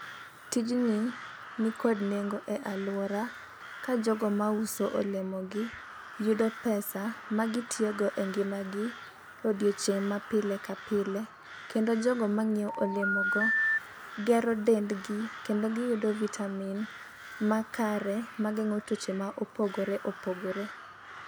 Tijni nikod nengo e aluora ka jogo mauso olemo gi yudo pesa ma gitiyo go e ngima gi e odiochieng' ma pile ka pile. Kendo jogo manyiewo olemo go gero dendgi kendo giyudo vitamin makare mageng'o tuoche ma opogore opogore.